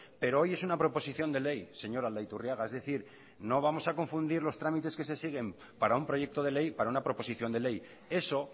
pero hoy es una proposición de ley señor aldaiturriaga es decir no vamos a confundir los trámites que se siguen para un proyecto de ley para una proposición de ley eso